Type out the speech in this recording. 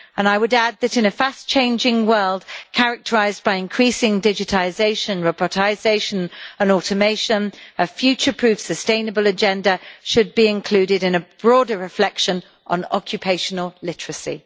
I would add that, in a fast changing world characterised by increasing digitisation, robotisation and automation, a future proof sustainable agenda should be included in a broader reflection on occupational literacy.